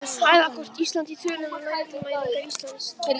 Hæðakort: Ísland í tölum- Landmælingar Íslands.